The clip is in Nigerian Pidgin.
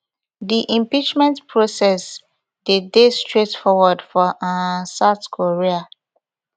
di impeachment process dey dey straightforward for um south korea